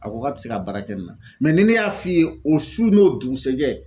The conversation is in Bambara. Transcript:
A ko k'a tɛ se ka baara kɛ nin na mɛ ni ne y'a f'i ye o su n'o dugusajɛ